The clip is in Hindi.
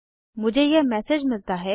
मुझे यह मैसेज मिलता है